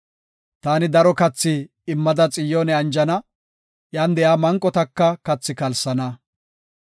Taani daro kathi immada Xiyoone anjana; iyan de7iya manqotaka kathi kalsana.